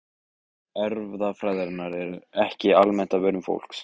Mörg hugtök erfðafræðinnar eru ekki almennt á vörum fólks.